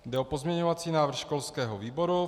Jde o pozměňovací návrh školského výboru.